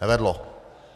Nevedlo.